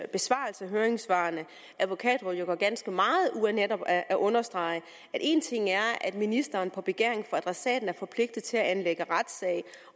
besvarelse af høringssvarene at advokatrådet jo gør ganske meget ud af netop at understrege at ministeren på begæring fra adressaten er forpligtet til at anlægge retssag